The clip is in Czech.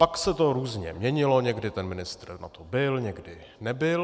Pak se to různě měnilo, někdy ten ministr na to byl, někdy nebyl.